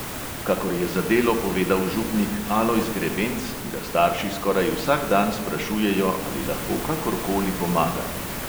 Kakor je za delo povedal župnik alojz grebenc, ga starši skoraj vsak dan sprašujejo, ali lahko kakor koli pomaga.